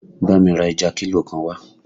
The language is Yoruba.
Bámi ra ẹja kílò kan wá!